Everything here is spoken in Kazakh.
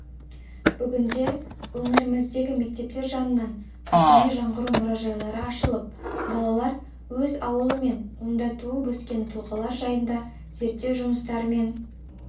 бүгінде өңіріміздегі мектептер жанынан рухани жаңғыру мұражайлары ашылып балалар өз ауылы мен онда туып-өскен тұлғалар жайында зерттеу жұмыстарымен